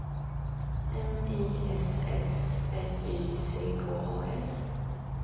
M I S S L Y C K A S